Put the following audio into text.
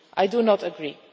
I do not agree.